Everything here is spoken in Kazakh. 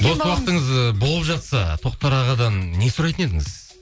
бос уақытыңыз ы болып жатса тоқтар ағадан не сұрайтын едіңіз